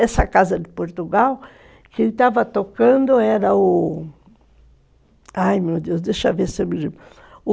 Essa Casa de Portugal, quem estava tocando era o... Ai, meu Deus, deixa eu ver se eu me lembro.